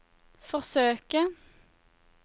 forsøke